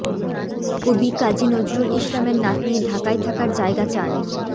কবি কাজী নজরুল ইসলামের নাতনী ঢাকায় থাকার জায়গা চান